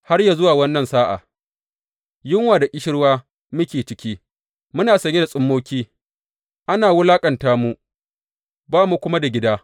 Har yă zuwa wannan sa’a, yunwa da ƙishirwa muke ciki, muna sanye da tsummoki, ana wulaƙanta mu, ba mu kuma da gida.